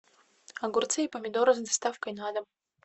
огурцы и помидоры с доставкой на дом